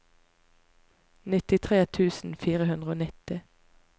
nittitre tusen fire hundre og nitti